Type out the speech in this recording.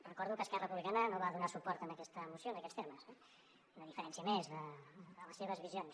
recordo que esquerra republicana no va donar suport a aquesta moció en aquests termes una diferència més de les seves visions